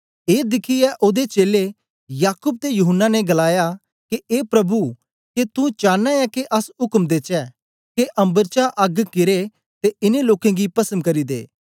ए दिखियै ओदे चेलें याकूब ते यूहन्ना ने गलाया के ए प्रभु के तू चांना ऐ के अस उक्म देचै के अम्बर चा अग्ग किरे ते इन्नें लोकें गी पस्म करी दे